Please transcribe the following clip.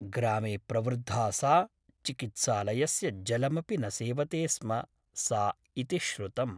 ग्रामे प्रवृद्धा सा चिकित्सालयस्य जलमपि न सेवते स्म सा इति श्रुतम् ।